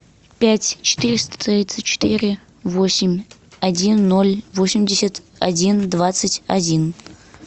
пять четыреста тридцать четыре восемь один ноль восемьдесят один двадцать один